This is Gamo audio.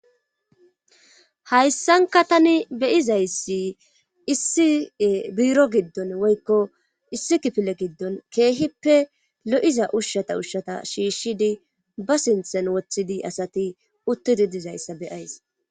hayssanka tani beyizayssi issie buiro giddon woykko issi kifile giddon keehippe lo7iza ushshata ushshata shiishshidi ba sinthen woththidi asati uttidi dizayssa beyays